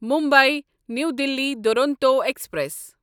Mumbai new Delhi Duronto express